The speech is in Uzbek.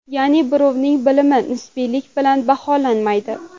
Ya’ni birovning bilimi nisbiylik bilan baholanmaydi.